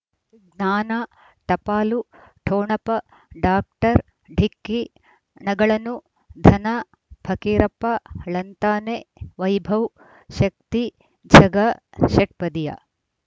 ಜ್ಞಾನ ಟಪಾಲು ಟೋಣಪ ಡಾಕ್ಟರ್ ಢಿಕ್ಕಿ ಣಗಳನು ಧನ ಫಕೀರಪ್ಪ ಳಂತಾನೆ ವೈಭವ್ ಶಕ್ತಿ ಝಗಾ ಷಟ್ಪದಿಯ